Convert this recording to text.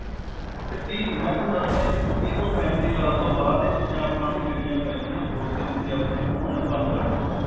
ਇਹ ਤੀਹ ਮੈਂ ਤੁਹਾਨੂੰ ਦੱਸ ਰਿਹਾ ਜੀ ਤੀਹ ਤੋਂ ਪੈਂਤੀ ਸਾਲ ਤੋਂ ਬਾਅਦ ਇਹ ਚੀਜਾਂ ਆਪਾਂ ਨੂੰ ਲੇਣੀਆਂ ਪੈ ਜਾਂਦੀਆਂ ਨੇ body ਆਪਨੇ ਬਣਾਉਣਾ ਬੰਦ ਕਰ ਦਿੰਦੀ ਹੈ